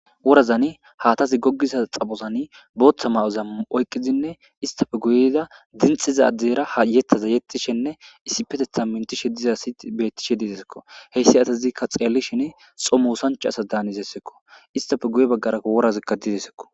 Worazzani hathazi gogiza xaphozani botha mayo assati enittappe guyezani yexishe isiperetha besishe dizesiko ha asatika xelishin xomosanicha assa malatesiko isitape guye baggara worati desiko